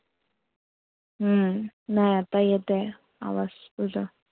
हम्म नाय आता येत आहे, आवाज तुझा.